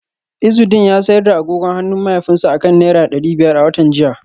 Izudeen ya sayar da agogon hannun mahaifinsa akan naira dari biyar a watan jiya